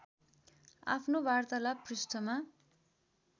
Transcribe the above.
आफ्नो वार्तालाप पृष्ठमा